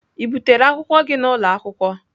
Ị butere akwụkwọ gị n'ụlọ akwụkwọ?